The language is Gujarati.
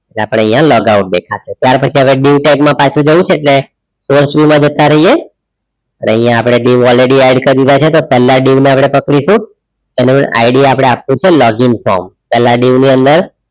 આપણે અહીંયા log out દેખાશે ત્યાર પછી આપણે dieu tag માં પાછું જવું છે એટલે source view માં જતા રહીએ અને અહીંયા આપણે dieu already add કરી દીધા છે પહેલા dieu ને આપણે પકડીશું એને ID આપણે આપવું છે login form પેલા dieu ની અંદર